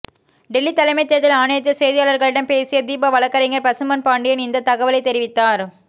டெல்லி தலைமை தேர்தல் ஆணையத்தில் செய்தியாளர்களிடம் பேசிய தீபா வழக்கறிஞர் பசும்பொன் பாண்டியன் இந்த தகவலை தெரிவித்தார்